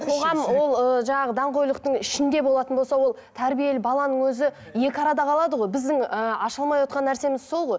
қоғам ол ыыы жаңағы даңғойлықтың ішінде болатын болса ол тәрбиелі баланың өзі екі арада қалады ғой біздің ы аша алмай отырған нәрсеміз сол ғой